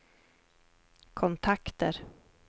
kontakter